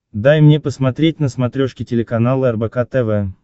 дай мне посмотреть на смотрешке телеканал рбк тв